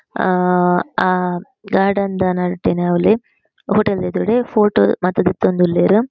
ಆ ಆ ಗಾರ್ಡನ್ ದ ನಡುಟೆ ಅವ್ಲೆ ಹೋಟೆಲ್ ದ ಎದುರುಡೆ ಫೋಟೊ ಮಾತ ದೆತ್ತೊಂದುಲ್ಲೆರ್.